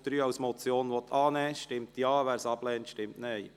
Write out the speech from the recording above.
Wer Punkt 3 als Motion annehmen will, stimmt Ja, wer dies ablehnt, stimmt Nein.